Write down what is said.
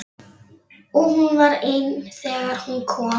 Og hún var ein þegar hún kom.